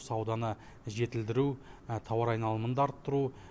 сауданы жетілдіру тауар айналымын арттыру